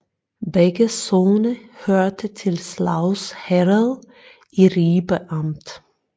Begge sogne hørte til Slavs Herred i Ribe Amt